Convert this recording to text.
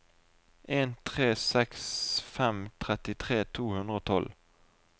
en tre seks fem trettitre to hundre og tolv